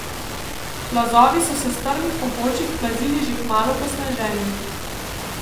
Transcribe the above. Plazovi so se s strmih pobočij plazili že kmalu po sneženju.